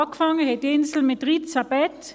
Angefangen hat die Insel mit 13 Betten.